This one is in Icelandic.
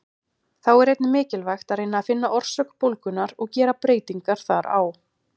Þá er einnig mikilvægt að reyna að finna orsök bólgunnar og gera breytingar þar á.